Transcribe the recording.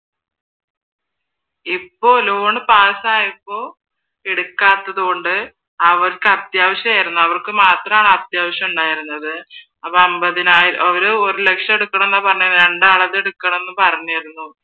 ഇപ്പോൾ loan pass ആയപ്പോ എടുക്കാത്തതുകൊണ്ട് അവർക്ക് അത്യാവശ്യം ആരുന്നു അവർക്ക് മാത്രമാണ് അത്യാവശ്യം ഉണ്ടായിരുന്നത് അപ്പൊ അൻപതിനായിരം ഒരു ലക്ഷം എടുക്കണം എന്നാണ് പറഞ്ഞെ രണ്ടാളത് എടുക്കണം എന്ന് പറഞ്ഞിരുന്നു